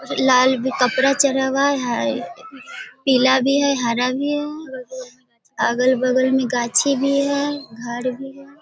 लाल भी कपडा चढ़ा हुआ है पीला भी है हरा भी है अगल बगल में गाछी भी है। घर भी है।